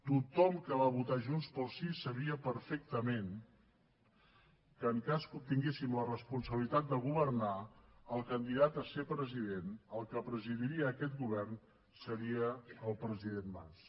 tothom que va votar junts pel sí sabia perfectament que en cas que obtinguéssim la responsabilitat de governar el candidat a ser president el que presidiria aquest govern seria el president mas